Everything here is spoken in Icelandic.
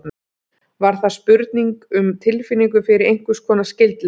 Var það spurning um tilfinningu fyrir einhvers konar skyldleika?